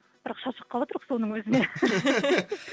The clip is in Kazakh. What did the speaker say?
бірақ шаршап қалыватырқ соның өзіне